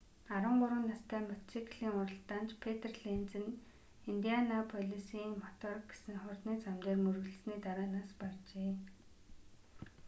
13 настай мотоциклийн уралдаанч петр ленз нь индианаполисын мотор гэсэн хурдны зам дээр мөргөлдсөний дараа нас баржээ